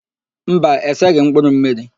Mba, eseghị m mkpụrụmmiri